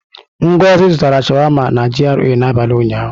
Ngozi zụtara sháwámá na GRA n'abalị ụnyaahụ.